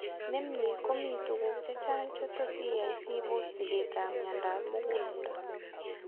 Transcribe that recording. Nemie ko mii tuguk chechang' chetot iyai sibos sigeet ab miondab mugulelde